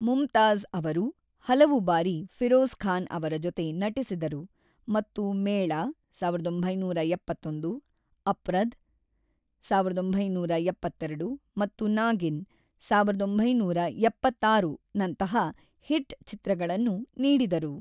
ಮುಮ್ತಾಜ್ ಅವರು ಹಲವು ಬಾರಿ ಫಿರೋಜ್ ಖಾನ್ ಅವರ ಜೊತೆ ನಟಿಸಿದರು ಮತ್ತು ಮೇಳ (ಸಾವಿರದ ಒಂಬೈನೂರ ಎಪ್ಪತ್ತೊಂದು), ಅಪ್ರದ್ (ಸಾವಿರದ ಒಂಬೈನೂರ ಎಪ್ಪತ್ತೆರಡು) ಮತ್ತು ನಾಗಿನ್ (ಸಾವಿರದ ಒಂಬೈನೂರ ಎಪ್ಪತ್ತ್ನಾರು) ನಂತಹ ಹಿಟ್‌ ಚಿತ್ರಗಳನ್ನು ನೀಡಿದರು.